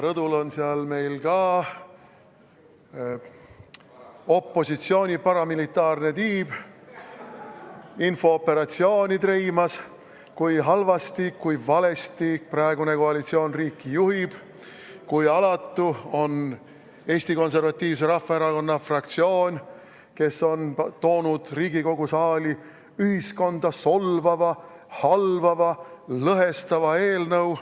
Rõdul on ka opositsiooni paramilitaarne tiib infooperatsiooni treimas, et kui halvasti, kui valesti praegune koalitsioon riiki juhib, kui alatu on Eesti Konservatiivse Rahvaerakonna fraktsioon, kes on toonud Riigikogu saali ühiskonda solvava, halvava, lõhestava eelnõu.